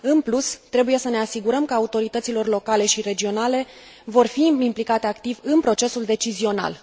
În plus, trebuie să ne asigurăm că autoritățile locale și regionale vor fi implicate activ în procesul decizional.